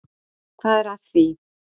Hvað er að því?